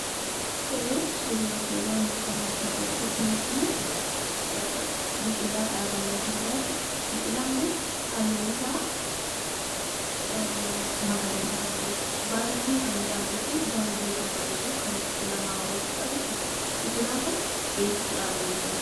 Suurri yeroo ammaa as gubbaatti arginu kun biqilaa dhaabamee jirudha. Biqilaan kun halluun isaa magariisa kan ta'eedha baay'ee kan miidhaguu fi baay'ee kan bareedu kan ofitti nama hawwatudha jechuudha. Biqilaan kun biyya eessaatti dhaabamee jira?